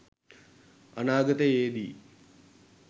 අනාගතයේ දී